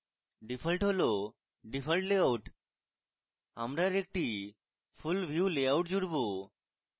default হল default layout আমরা আরেকটি full view লেআউট জুড়ব